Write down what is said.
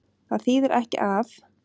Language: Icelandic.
Það þýðir ekki að.